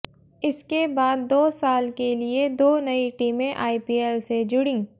इसके बाद दो साल के लिए दो नई टीमें आईपीएल से जुड़ीं